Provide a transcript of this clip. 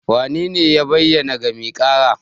Wanene ya bayyana ga mai ƙara?